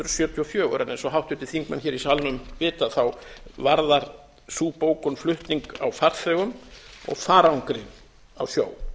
og fjögur en eins og háttvirtir þingmenn hér í salnum vita varðar sú bókun flutning á farþegum og farangri á sjó